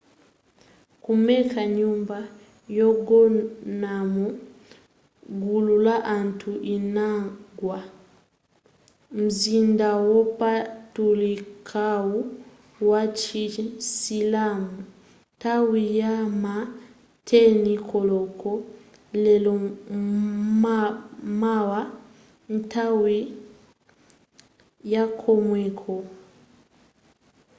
ku mecca nyumba yogonamo gulu la anthu inagwa m'mzinda wopatulikawu wa chisilamu nthawi yama 10 koloko lero m'mawa nthawi yakomweko